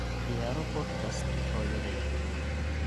ciyaaro podcast hooyada yar